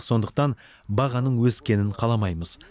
сондықтан бағаның өскенін қаламаймыз